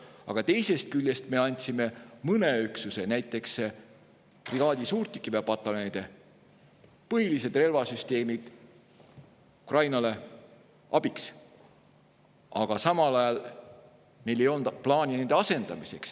Aga teisest küljest me andsime mõne üksuse, näiteks brigaadide suurtükiväepataljoni põhilised relvasüsteemid Ukrainale abiks, samal ajal meil ei olnud plaani nende asendamiseks.